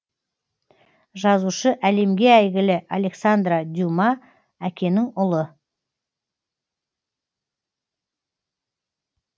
жазушы әлемге әйгілі александра дюма әкенің ұлы